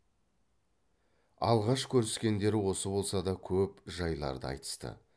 алғаш көріскендері осы болса да көп жайларды айтысты